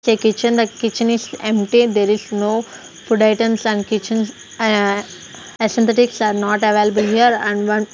a kitchen The kitchen is empty there is no food items and kitchens ah a synthetic are not available here and one--